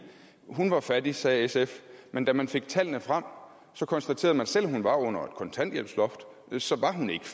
hun var fattig sagde sf men da man fik tallene frem konstaterede man at selv om hun var under et kontanthjælpsloft så var hun ikke